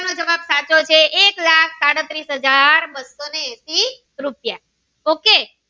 જવાબ સાચો છે એક લાખ સાડત્રીસ હાજર બસો ને એસી રૂપિયા ok